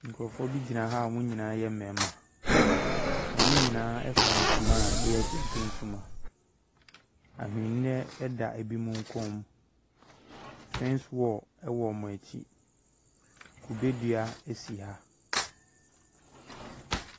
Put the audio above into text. Nkrɔfoɔ bi gyina ha a ɔmo nyinaa yɛ mmɛɛma. Ɔmo nyinaa ɛfira ntoma a ɛyɛ kente ntoma. Ahwenneɛ ɛda ebi mu kɔn mu. Fɛns wɔl ɛwɔ ɔmo akyi. Kube dua ɛsi ha.